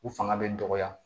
U fanga bɛ dɔgɔya